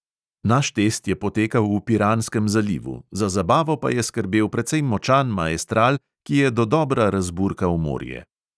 Naš test je potekal v piranskem zalivu, za zabavo pa je skrbel precej močan maestral, ki je dodobra razburkal morje.